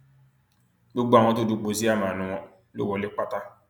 gbogbo àwọn tó dúpọ síámàánú wọn ló wọlé pátá